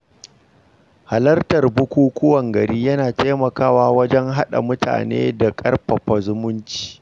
Halartar bukukuwan gari yana taimakawa wajen haɗa mutane da ƙarfafa zumunci.